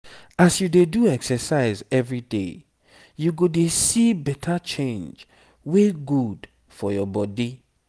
as you dey do exercise everyday you go dey see better change wey good for your body.